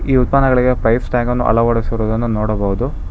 ಈ ಉತ್ಪನ್ನ್ಗಳಿಗೆ price tag ಅನ್ನು ಅಳವಡಿಸಿರೋದನ್ನು ನೋಡಬಹುದು.